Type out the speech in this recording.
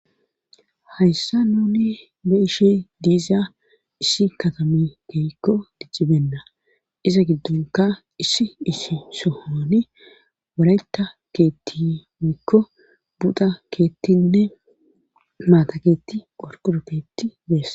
hayssa nuni be'ishi diiza isi katami keykko dijjibenna isa giddonka isi isi sohoni wareta keetti mikko buda keettinne maata keetti qorquru peetti beesa